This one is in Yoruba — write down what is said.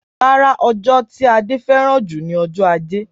Rárá, ọjọ́ tí Ade fẹ́ràn jù ni ọjọ́ Ajé